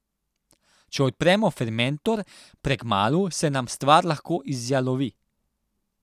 Če odpremo fermentor prekmalu, se nam stvar lahko izjalovi.